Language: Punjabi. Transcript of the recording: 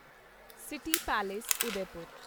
city palace Udaipur